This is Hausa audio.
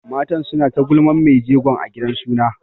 Matan suna ta gulman mai jegon a gidan suna.